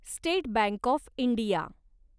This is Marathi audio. state bank of India